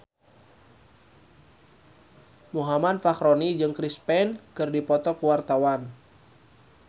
Muhammad Fachroni jeung Chris Pane keur dipoto ku wartawan